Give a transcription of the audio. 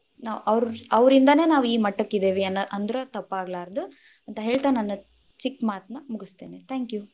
ನಾವ್‌ ಅವ್ರ~ ಅವ್ರಿಂದಾನೆ ನಾವ್‌ ಈ ಮಟ್ಟಕ್ಕಿದೇವೆ ಅನ್‌~ಅಂದ್ರ ತಪ್ಪಾಗಲಾರದು, ಅಂತ ಹೇಳ್ತಾ ನನ್ನ ಚಿಕ್ಕ ಮಾತನ್ನ ಮುಗಸ್ತೇನಿ, thank you.